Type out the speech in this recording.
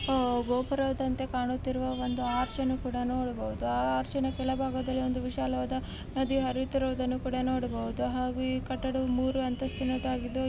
ಗೋಪುರದಂತೆ ಕಾಣುತ್ತಿರುವ ಒಂದು ಹಸಿರು ಕೂಡಾ ನೋಡಬಹುದು. ಆ ಹಸಿರಿನ ಮೇಲೆ ವಿಶಾಲವಾದ ಹರಿಯುತ್ತಿರುವುದನ್ನು ಕೂಡಾ ನೋಡಬಹುದು. ಹಾಗೆ ಈ ಕಟ್ಟಡವು ಮೂರು ಅಂತಸಿನ --